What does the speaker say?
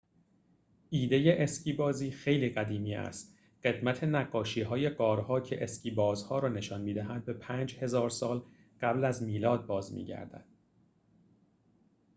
ایده اسکی‌بازی خیلی قدیمی است قدمت نقاشی‌های غارها که اسکی بازها را نشان می‌دهد به ۵۰۰۰ سال قبل از میلاد باز می‌گردد